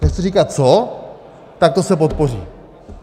nechci říkat co - tak to se podpoří.